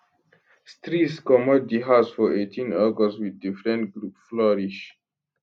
streeze comot di house for 18 august wit di friend group flourish